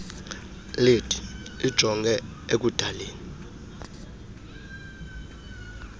led ijonge ekudaleni